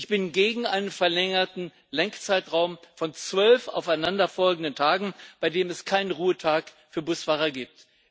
Ich bin gegen einen verlängerten Lenkzeitraum von zwölf aufeinanderfolgenden Tagen, bei dem es keinen Ruhetag für Busfahrer gibt.